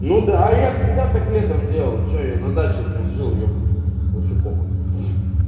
ну да а я всегда так летом делал что я на даче прям жил ебанный рот вообще похуй